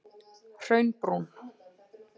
Hraunbrún